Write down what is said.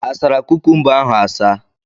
Asara kukumba ahụ asa?